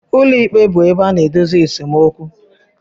Ụlọikpe bụ ebe a na-edozi esemokwu.